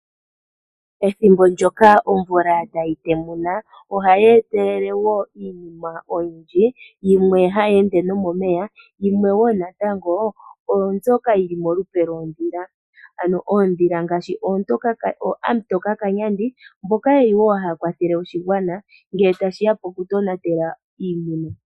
Ethimbo ndoka omvula tayi temuna, ohayi etelele wo iinima oyindji, yimwe hayi ende nomomeya yimwe wo natango oombyoka yi li molupe lwondhila. Ano ondhila ngaashi Ooamutoka kanyandi, mboka ye li wo haya kwathele oshigwana ngele tashi ya pokutonatela iimuna.